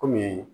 Kɔmi